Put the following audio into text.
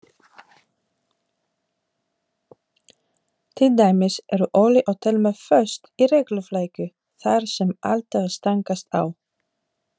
Hróðólfur, hringdu í Hildegard eftir sextíu og fimm mínútur.